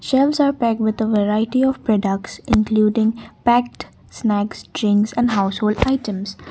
gems are packed with a variety of products including packed snacks drinks and household items.